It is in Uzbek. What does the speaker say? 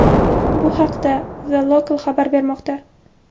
Bu haqda The Local xabar bermoqda .